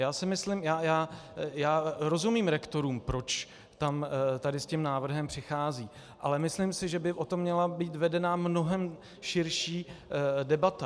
Já rozumím rektorům, proč tady s tím návrhem přicházejí, ale myslím si, že by o tom měla být vedena mnohem širší debata.